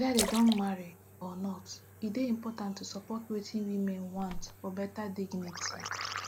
weda dem don marry or not e dey important to support wetin women want for beta dignity